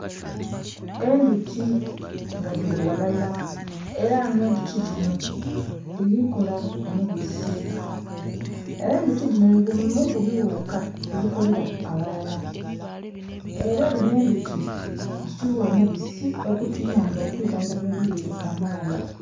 Endhuki nga dhili ghalala era nga endhuki dhino dhili kola omubisi era endhuki dhino nhi ku bimu ku bidhuka ebikolela aghalala era dhinho endhuki dhi tugha omubisi ogutuyamba okwidhandhaba ebilwaire kamaala.